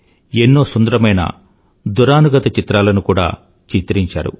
ఎన్నో సుందరమైన దురానుగత చిత్రాలను కూడా చిత్రించారు